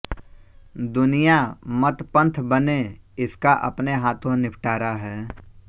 दुनिया मत पन्थ बने इसका अपने हाथों निपटारा है